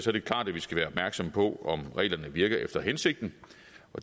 er det klart at vi skal være opmærksomme på om reglerne virker efter hensigten